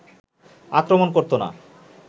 আক্রমণ করতো না